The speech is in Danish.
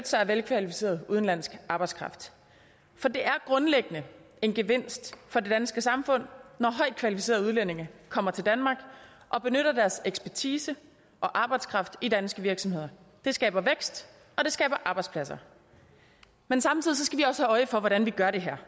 sig af velkvalificeret udenlandsk arbejdskraft for det er grundlæggende en gevinst for det danske samfund når højtkvalificerede udlændinge kommer til danmark og benytter deres ekspertise og arbejdskraft i danske virksomheder det skaber vækst og det skaber arbejdspladser men samtidig skal vi også have øje for hvordan vi gør det her